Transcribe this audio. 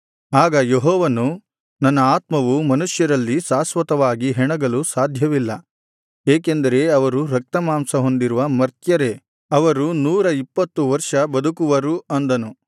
ಆಗ ಯೆಹೋವನು ನನ್ನ ಆತ್ಮವು ಮನುಷ್ಯರಲ್ಲಿ ಶಾಶ್ವತವಾಗಿ ಹೆಣಗಲು ಸಾಧ್ಯವಿಲ್ಲ ಏಕೆಂದರೆ ಅವರು ರಕ್ತಮಾಂಸ ಹೊಂದಿರುವ ಮರ್ತ್ಯರೇ ಅವರು ನೂರ ಇಪ್ಪತ್ತು ವರ್ಷ ಬದುಕುವರು ಅಂದನು